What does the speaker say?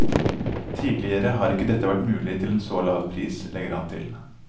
Tidligere har ikke dette vært mulig til en så lav pris, legger han til.